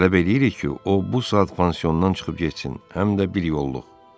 Tələb eləyirik ki, o bu saat pansiondan çıxıb getsin, həmdə bir yolluq.